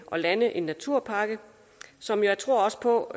lande en naturpakke som jeg tror på